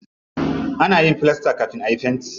Ana yin filasta kafin ayi fenti.